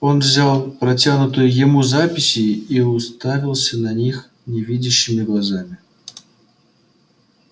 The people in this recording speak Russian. он взял протянутые ему записи и уставился на них невидящими глазами